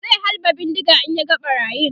zai halba bindiga in ya ga ɓarayin